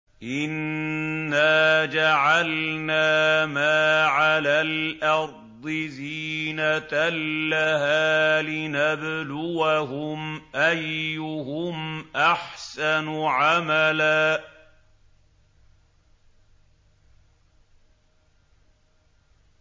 إِنَّا جَعَلْنَا مَا عَلَى الْأَرْضِ زِينَةً لَّهَا لِنَبْلُوَهُمْ أَيُّهُمْ أَحْسَنُ عَمَلًا